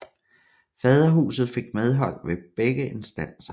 Faderhuset fik medhold ved begge instanser